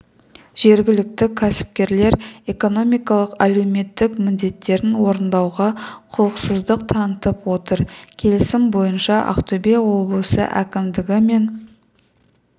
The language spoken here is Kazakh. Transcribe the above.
жергілікті кәсіпкерлер экономикалық әлеуметтік міндеттерін орындауға құлықсыздық танытып отыр келісім бойынша ақтөбе облысы әкімдігі мен